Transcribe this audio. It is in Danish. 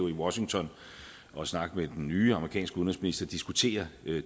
i washington for at snakke med den nye amerikanske udenrigsminister har diskuteret